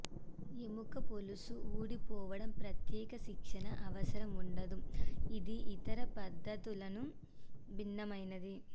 యెముక పొలుసు ఊడిపోవడం ప్రత్యేక శిక్షణ అవసరం ఉండదు ఇది ఇతర పద్ధతులను భిన్నమైనది